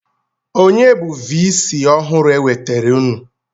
Onye bụ vii sii ọhụrụ e wetaara unu?